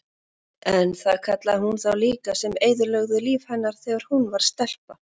En það kallaði hún líka þá sem eyðilögðu líf hennar þegar hún var stelpa.